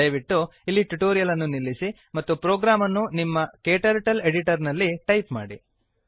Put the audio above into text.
ದಯವಿಟ್ಟು ಇಲ್ಲಿ ಟ್ಯುಟೋರಿಯಲ್ ಅನ್ನು ನಿಲ್ಲಿಸಿ ಮತ್ತು ಪ್ರೋಗ್ರಾಮ್ ಅನ್ನು ನಿಮ್ಮ ಕ್ಟರ್ಟಲ್ ಎಡಿಟರ್ ನಲ್ಲಿ ಟೈಪ್ ಮಾಡಿ